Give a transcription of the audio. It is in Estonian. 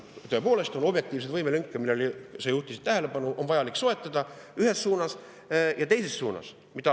Tõepoolest, on objektiivseid võimelünki, millele sa juhtisid tähelepanu, on vaja soetada ühes suunas ja teises suunas.